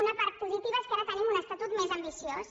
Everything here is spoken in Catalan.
una part positiva és que ara tenim un estatut més ambiciós